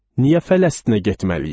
Niyə Fələstinə getməliyik?